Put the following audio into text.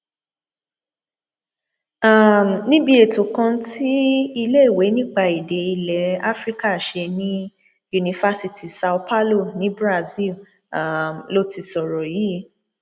um níbi ètò kan tí iléèwé nípa èdè ilẹ afrika ṣe ní yunifásitì são paulo ní brazil um ló ti sọrọ yìí